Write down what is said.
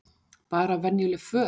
Bara venjuleg föt?